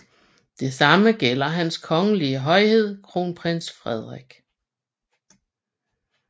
Det samme gælder Hans Kongelige Højhed Kronprins Frederik